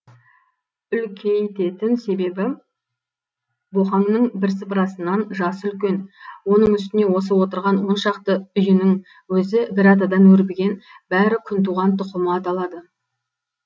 үлкейтетін себебі боқаңның бірсыпырасынан жасы үлкен оның үстіне осы отырған оншақты үйінің өзі бір атадан өрбіген бәрі күнтуған тұқымы аталады